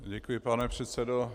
Děkuji, pane předsedo.